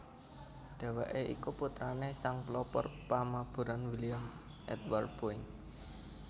Dhèwèké iku putrané sang pelopor pamaburan William Edward Boeing